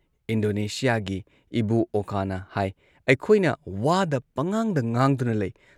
ꯏꯟꯗꯣꯅꯦꯁꯤꯌꯥꯒꯤ ꯏꯕꯨ ꯑꯣꯀꯥꯅ ꯍꯥꯏ "ꯑꯩꯈꯣꯏꯅ ꯋꯥꯗ ꯄꯪꯉꯥꯡꯗ ꯉꯥꯡꯗꯨꯅ ꯂꯩ ꯫